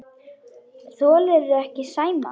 Þolirðu ekki Sæma?